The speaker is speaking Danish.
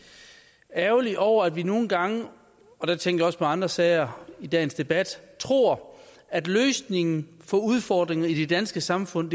ærgerlig over at vi nogle gange og der tænker jeg også på andre sager i dagens debat tror at løsningen på udfordringer i det danske samfund